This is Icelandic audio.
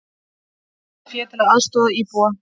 Safna fé til að aðstoða íbúa